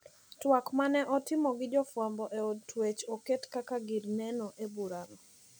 Twak ma ne otimo gi jofwambo e od twech oket kaka gir neno e burano.